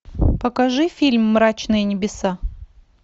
покажи фильм мрачные небеса